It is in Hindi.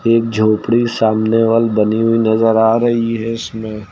एक झोपड़ी सामने वॉल बनी हुई नजर आ रही है इसमें।